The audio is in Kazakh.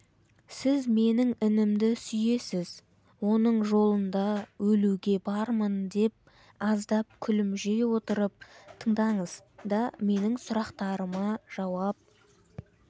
сіз менің інімді сүйесіз оның жолында өлуге бармын аздап күмілжи отырып тыңдаңыз да менің сұрақтарыма жауап